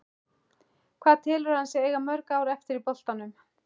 Hvað telur hann sig eiga mörg ár eftir í boltanum?